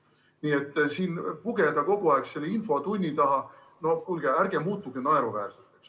Nii et siin pugeda kogu aeg selle infotunni taha – no kuulge, ärge muutuge naeruväärseks.